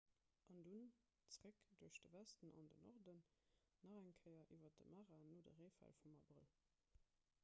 an dunn zeréck duerch de westen an den norden nach eng kéier iwwer de mara no de reefäll vum abrëll